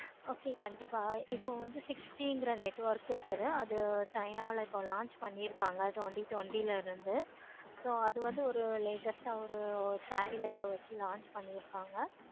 okay கண்டிப்பா இப்ப வந்து six G network இருக்கு இப்போ china ல launch பண்ணிருக்காங்க. so இப்போ அது வந்து latest ஒரு satellite வச்சு launch பண்ணிருக்காங்க.